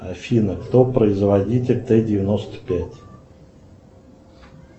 афина кто производитель т девяносто пять